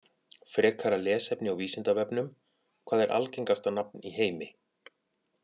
Frekara lesefni á Vísindavefnum: Hvað er algengasta nafn í heimi?